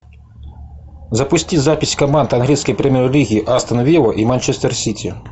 запусти запись команд английской премьер лиги астон вилла и манчестер сити